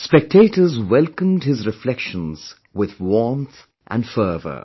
Spectators welcomed his reflections with warmth and fervor